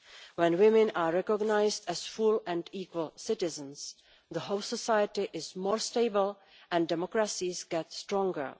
When women are recognised as full and equal citizens the whole society is more stable and democracies get stronger.